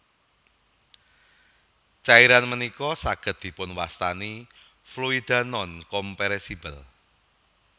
Cairan ménika sagéd dipunwastani Fluidanonkompresibel